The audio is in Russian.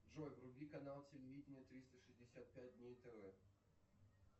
джой вруби канал телевидение триста шестьдесят пять дней тв